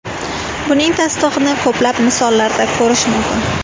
Buning tasdig‘ini ko‘plab misollarda ko‘rish mumkin.